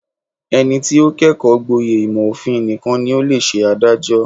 Ẹni tí ó kẹ́kọ̀ọ́ gboyè ìmọ̀ òfin nìkan ni ó lè ṣe adájọ́.